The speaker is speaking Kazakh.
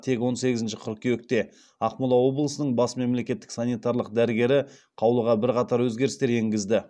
тек он сегізінші қыркүйекте ақмола облысының бас мемлекеттік санитарлық дәрігері қаулыға бірқатар өзгерістер енгізді